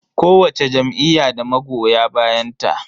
Kowacce jam'iyya da magoya bayanta.